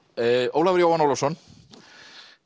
Ólafur Jóhann Ólafsson